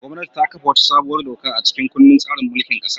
Gwamnati ta kafa wata sabuwar doka a cikin kundin tsarin mulkin kasar.